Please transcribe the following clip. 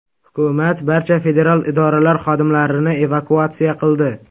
Hukumat barcha federal idoralar xodimlarini evakuatsiya qildi.